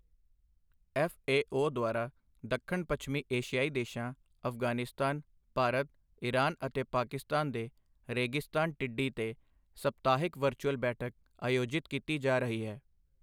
F A O ਦੁਆਰਾ ਦੱਖਣ ਪੱਛਮੀ ਏਸ਼ਿਆਈ ਦੇਸ਼ਾਂ ਅਫ਼ਗ਼ਾਨਿਸਤਾਨ, ਭਾਰਤ, ਇਰਾਨ ਅਤੇ ਪਾਕਿਸਤਾਨ ਦੇ ਰੇਗਿਸਤਾਨ ਟਿੱਡੀ ਤੇ ਸਪਤਾਹਿਕ ਵਰਚੁਅਲ ਬੈਠਕ ਆਯੋਜਿਤ ਕੀਤੀ ਜਾ ਰਹੀ ਹੈ।